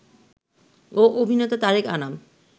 ও অভিনেতা তারেক আনাম